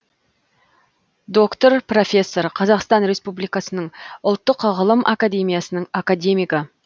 доктор профессор қазақстан республикасының ұлттық ғылым академиясының академигі